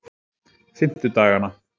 fimmtudagana